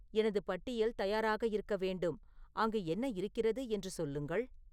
எனது பட்டியல் தயாராக இருக்க வேண்டும் அங்கு என்ன இருக்கிறது என்று சொல்லுங்கள்